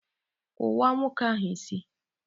kụwaa nwoke ahụ isí!